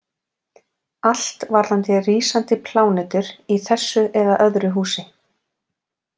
Allt varðandi rísandi plánetur í þessu eða öðru húsi.